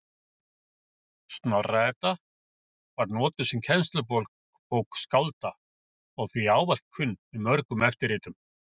Snorra-Edda var notuð sem kennslubók skálda og því ávallt kunn í mörgum eftirritum.